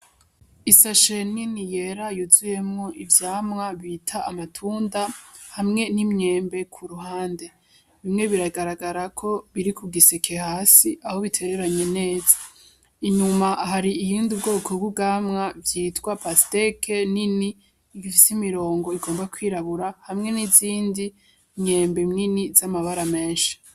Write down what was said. Isashe nini yera yuzuyemwo ivyamwa bita amatunda hamwe n'imyembe ku ruhande bimwe biragaragara ko biri ku giseke hasi aho bitereranye neza inyuma hari iyindi ubwoko bw'ugamwa vyitwa pasiteke nini igifisa imirongo igomba kwirabura hamwe n'izindi myembe imyini z'amabara menshi.